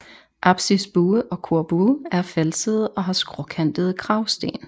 Apsisbue og korbue er falsede og har skråkantede kragsten